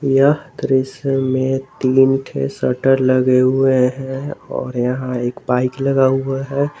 यह दृश्य में तीन ठे शटर लगे हुए हैं और यहां एक बाइक लगा हुआ है।